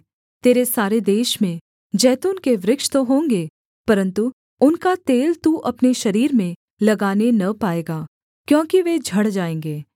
तेरे सारे देश में जैतून के वृक्ष तो होंगे परन्तु उनका तेल तू अपने शरीर में लगाने न पाएगा क्योंकि वे झड़ जाएँगे